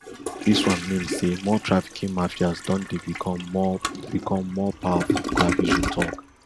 dis one mean say more trafficking mafias don dey become more become more powerful clavijo tok